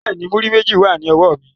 Bẹ́ẹ̀ni, múrí méjì wà ní ọwọ́ mi